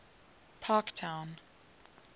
parktown